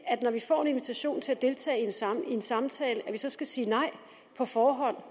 at når vi får en invitation til at deltage i en samtale at vi så skal sige nej på forhånd